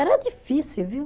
Era difícil, viu?